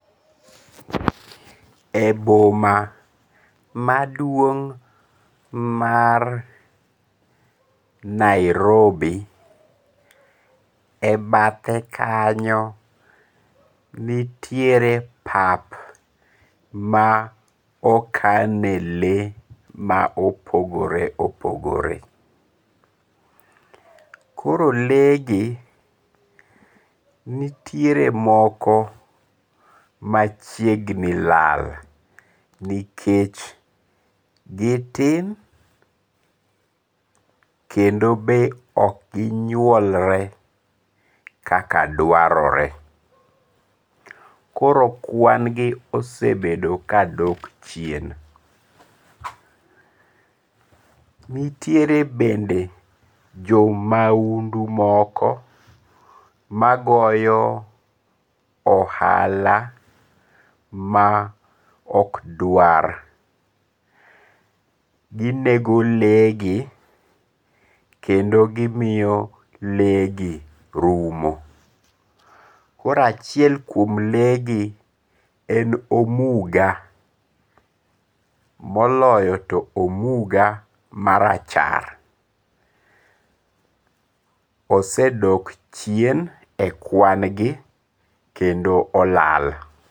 E boma maduong' mar Nairobi, e bathe kanyo nitiere pap ma okane lee ma opogore opogore, koro lee gi nitiere moko machiegni lal nikech gitin kendo be okgi nyuolre kaka dwarore, koro kwan gi osebet ka dok chien, nitiere bende jo maundu moko magoyo ohala ma okdwar, ginego le gi kendo gimiyo legi rumo, koro achiel kuom le gi en omuga moloyo to omuga marachar osedok chien e kwangi olal